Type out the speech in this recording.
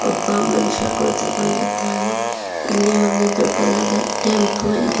ಒಬ್ಬ ಮನುಷ್ಯ ಕುಳಿತುಕೊಂಡಿದ್ದಾನೆ ಇಲ್ಲಿ ಒಂದು ದೊಡ್ಡದಾದ ಟೆಂಪೋ ಇದೆ.